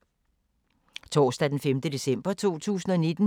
Torsdag d. 5. december 2019